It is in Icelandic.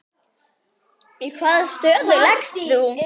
Í hvaða stöðu lékst þú?